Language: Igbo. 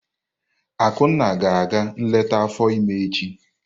Akunna ga-aga nleta afọ ímé echi.